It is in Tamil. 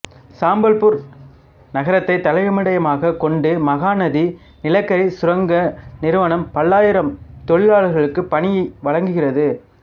சம்பல்பூர் நகரத்தை தலைமயிடமாகக் கொண்ட மகாநதி நிலக்கரி சுரங்க நிறுவனம் பல்லாயிரம் தொழிலாளர்களுக்கு பணி வழங்குகிறது